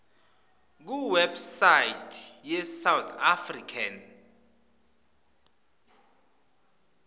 kuwebsite yesouth african